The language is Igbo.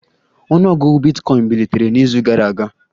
Ọnụ ọgụgụ bitcoin bilitere n'izu gara aga